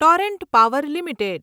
Torrent Power limited